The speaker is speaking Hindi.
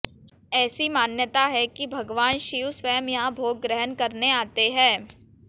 ऐसी मान्यता है कि भगवान शिव स्वयं यहां भोग ग्रहण करने आते हैं